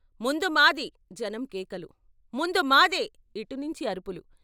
ముందు మాది జనం కేకలు ముందు మాదే ఇటు నుంచి అరుపులు.